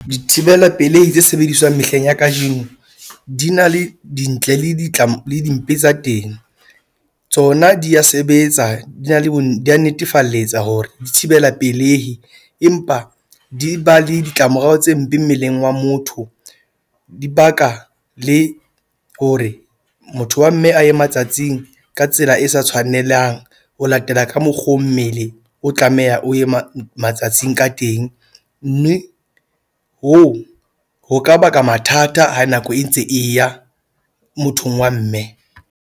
Dithibela pelehi tse sebediswang mehleng ya kajeno di na le dintle le le dimpe tsa teng. Tsona di ya sebetsa, di na le bo di da netefalletsa hore di thibela pelehi empa di ba le ditlamorao tse mpe mmeleng wa motho. Di baka le hore motho wa mme a ye matsatsing ka tsela e sa tshwanelang. Ho latela ka mokgo mmele, o tlamehang o ye matsatsing ka teng, mme hoo ho ka baka mathata ha nako e ntse e ya mothong wa mme.